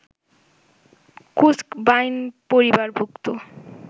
কুস্ক বাইন পরিবারভুক্ত